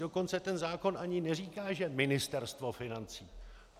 Dokonce ten zákon ani neříká, že Ministerstvo financí.